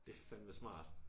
Det fandme smart